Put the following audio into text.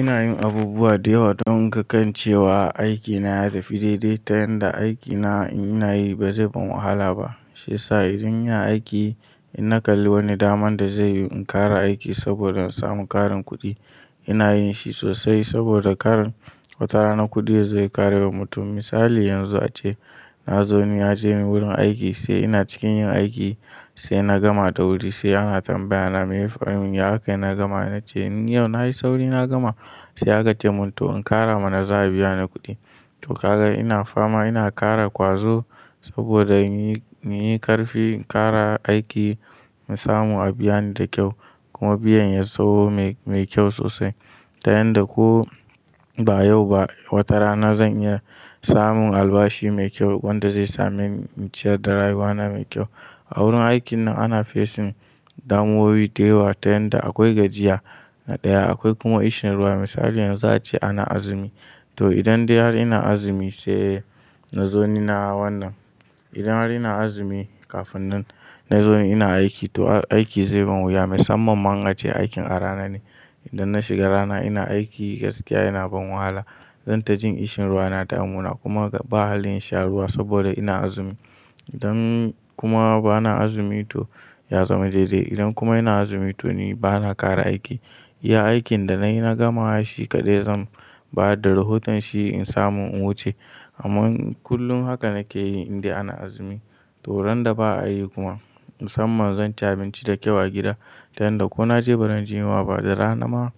Ina yin abubuwa da yawa don in ga kan cewa aikin na ya tafi daidai ta yanda aikin na in ina yi ba zai bar wahala ba. Shiyasa idan ina aiki, in na kalli wani damar da zai yi in kara aiki saboda in samu ƙarin kuɗi, ina yin shi sosai saboda ƙar wata rana kuɗi yazo ya ƙare wa mutum. Misali yanzu ace na zo ni ya je ni wurin aiki sai ina cikin yin aiki sai na gama da wuri sai ana tambaya na me ya fi mun yi haka ina gama na ce ni yau na yi sauri na gama sai aka ce mun to in kara mana za a biya ni kuɗi. To kaga ina fama ina kara ƙwazo saboda in yi, in yi ƙarfi in kara aiki in samu a biya ni da kyau kuma biyan ya tsayo mai, mai kyau sosai ta yanda ko ba yau ba wata rana zan iya samun albashi mai kyau wanda zai sa min ciyar da rayuwana mai kyau. A wurin aikin nan ana fesin damuwoyi da yawa ta yanda akwai gajiya na ɗaya akwai kuma ƙishin ruwa. Misali yanzu ace ana azumi to idan dai har ina azumi sai na zo ni na wannan. Idan har ina azumi kafin nan na zo ni ina aiki to aiki zai bar wuya. Musamman ma in ce aikin a rana ne. Idan na shiga rana ina aiki gaskiya yana ban wahala. Zan ta jin ƙishin ruwa na damuna kuma ga ba hallin insha ruwa saboda ina azumi. Idan kuma bana azumi to ya zama daidai. Idan kuma ina azumi to ni bana kara aiki. Iya aikin da na yi na gama shi kaɗai zan ba da rahoton shi in samu in wuce amma kullum haka nake yi inda ana azumi. To ran da ba aiki kuma musamman zan ci abinci da kyau a gi jida ta yanda ko na je barin jin wa ba da rana ma